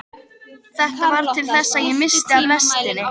Þetta varð til þess að ég missti af lestinni.